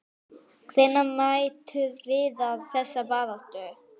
Hvernig metur Viðar þessa baráttu?